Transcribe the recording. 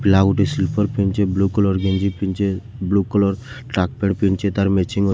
ପିଲା ଗୁଟେ ସ୍ଲିପ୍ପର ପିନ୍ଧିଛେ ବ୍ଲୁ କଲର୍‌ ଗେଞ୍ଜି ପିନ୍ଧିଛେ ବ୍ଲୁ କଲର୍‌ ଟ୍ରାକ୍‌ ପ୍ୟାଣ୍ଟ ପିନ୍ଧିଛେ ତାର୍‌ ମେଚିଙ୍ଗ --